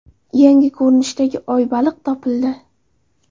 Yangi ko‘rinishdagi oy-baliq topildi.